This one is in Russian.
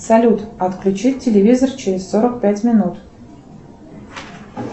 салют отключить телевизор через сорок пять минут